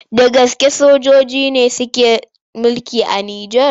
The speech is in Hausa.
Da gaske sojoji ne suke mulki a Nijar?